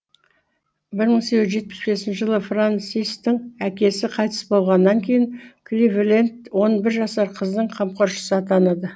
бір мың сегіз жүз жетпіс бесінші жылы френсистің әкесі қайтыс болғаннан кейін кливленд он бір жасар қыздың қамқоршысы атанады